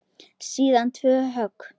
Síðan tvö högg.